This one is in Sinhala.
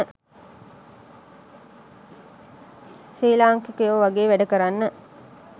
ශ්‍රී ලාංකිකයෝ වගේ වැඩ කරන්න